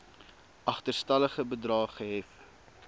agterstallige bedrae gehef